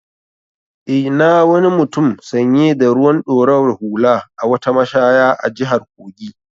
I na wani mutum sanye da ruwan ɗorawar hula a wata mashaya a jihar Kogi.